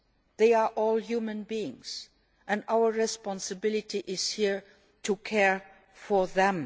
They are all human beings and our responsibility here is to care for them.